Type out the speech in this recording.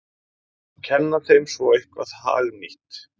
Kenna þeim svo eitthvað hagnýtt!